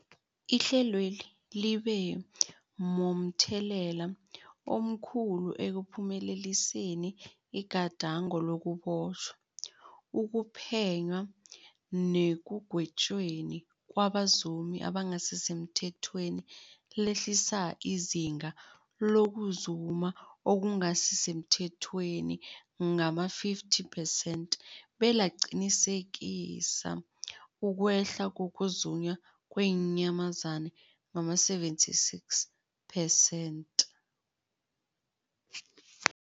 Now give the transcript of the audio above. Ihlelweli libe momthelela omkhulu ekuphumeleliseni igadango lokubotjhwa, ukuphenywa nekugwetjweni kwabazumi abangasisemthethweni, lehlisa izinga lokuzuma okungasi semthethweni ngama-50 percent, belaqinisekisa ukwehla kokuzunywa kweenyamazana ngama-76 percent.